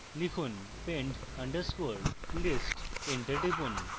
লিখুন pend underscore list